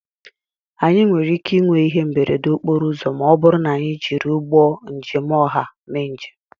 Anyị nwere ike ịnwe ihe mberede okporo ụzọ ma ọ bụrụ na anyị jiri ụgbọ njem ọha mee njem